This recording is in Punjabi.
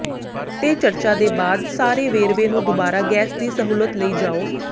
ਤੇ ਚਰਚਾ ਦੇ ਬਾਅਦ ਸਾਰੇ ਵੇਰਵੇ ਨੂੰ ਦੁਬਾਰਾ ਗੈਸ ਦੀ ਸਹੂਲਤ ਲਈ ਜਾਓ